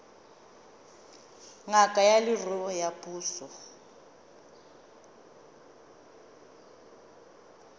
ngaka ya leruo ya puso